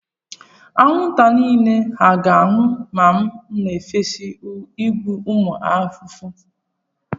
Anwụnta niile hà ga-anwụ ma m na-efesa igbu ụmụ ahụhụ?